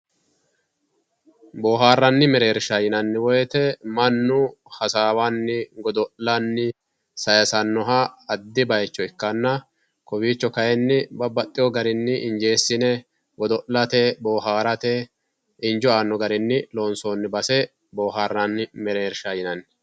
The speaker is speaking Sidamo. boohaarranni meereersha yinanni woyiite mannu hasaawanni godo'lanni saayiisannoha addi bayiicho ikkanna kowiicho kayiin babbaxino garinni injeessine godo'late boohaarate injo aano garinni lonsoonni base bohaaranni mereersha yinanni